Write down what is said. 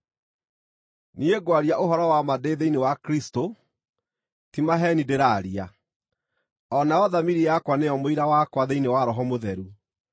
Niĩ ngwaria ũhoro-wa-ma ndĩ thĩinĩ wa Kristũ, ti maheeni ndĩraaria, o nayo thamiri yakwa nĩyo mũira wakwa thĩinĩ wa Roho Mũtheru,